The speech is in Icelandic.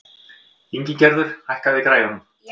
Ingigerður, hækkaðu í græjunum.